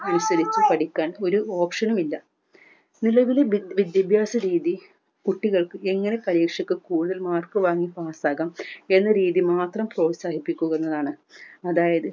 അനുസരിച്ച് പഠിക്കാൻ ഒരു option നും ഇല്ല നിലവിലെ ബി വിദ്യാഭ്യാസരീതി കുട്ടികൾക്ക് എങ്ങനെ പരീക്ഷയ്ക്ക് കൂടുതൽ mark വാങ്ങി pass ആകാം എന്നരീതിയിൽ മാത്രം പ്രോത്സാഹിക്കുന്നതാണ് അതായത്